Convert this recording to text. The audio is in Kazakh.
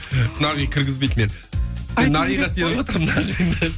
ы нағи кіргізбейді мені мен нағиға сеніп отырмын